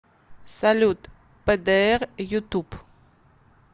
салют пэдээр ютуб